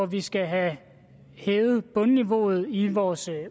vi skal have hævet bundniveauet i vores